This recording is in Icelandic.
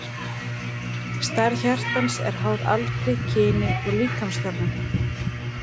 Stærð hjartans er háð aldri, kyni og líkamsþjálfun.